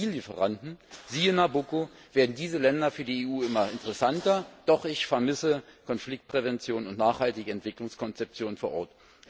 Als Energielieferanten siehe Nabucco werden diese Länder für die EU immer interessanter, doch ich vermisse Konfliktprävention und nachhaltige Entwicklungskonzeption vor Ort.